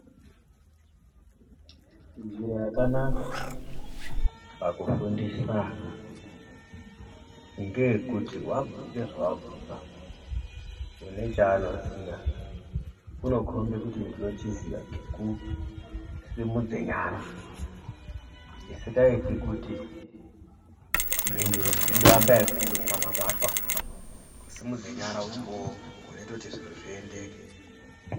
Njira yakanaka pakufundisa ana ngekuti, wabvunza zvawabvunza, unechanoziya , unokhombe kuti ndinochiziya ngekusimudze nyara. Chisingayiti kuti, mhinduro dzinohamba yekundoshamaratwa. Kusimudze nyara umbowo wunote kuti zvuro zviyendeke.